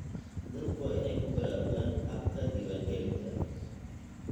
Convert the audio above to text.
Dadku waa inay ku baraarugaan habka diiwaangelinta.